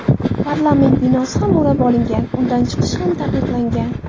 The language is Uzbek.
Parlament binosi ham o‘rab olingan, undan chiqish ham taqiqlangan.